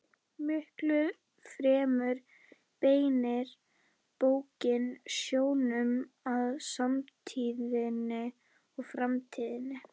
Miklu fremur beinir bókin sjónum að samtíðinni og framtíðinni.